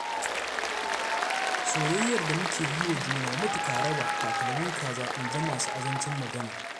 Soyayyar da muke yi wa junanmu mutu ka raba, takalmin kaza in ji masu azancin magana.